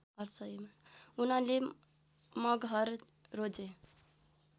उनले मगहर रोजे